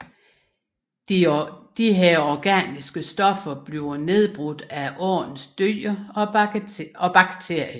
Disse organiske stoffer bliver nedbrudt af åens dyr og bakterier